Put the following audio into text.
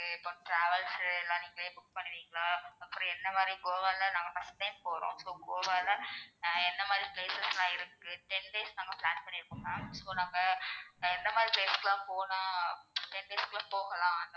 இப்போ travels எல்லாம் நீங்களே book பண்ணுவீங்களா? அப்பறம் என்ன மாதிரி கோவால நாங்க first time போறோம் so கோவால என்ன மாதிரி places லாம் இருக்கு ten days நாங்க plan பண்ணி இருக்கோம் ma'am so நாங்க எந்த மாதிரி places க்கு எல்லாம் போனா ten days குள்ள போகலாம்